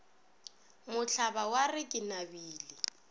mohlaba wa re ke nabile